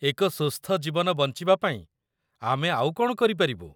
ଏକ ସୁସ୍ଥ ଜୀବନ ବଞ୍ଚିବା ପାଇଁ ଆମେ ଆଉ କ'ଣ କରିପାରିବୁ?